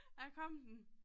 Der kom den